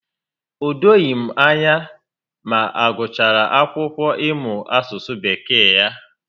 O doghị m anya ma ọ gụchara akwụkwọ ị mụ asụsụ Bekee ya